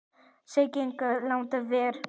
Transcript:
Sá gegn ágangi landið ver.